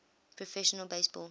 professional base ball